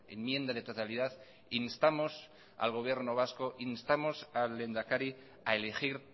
enmienda de totalidad instamos al gobierno vasco instamos al lehendakari a elegir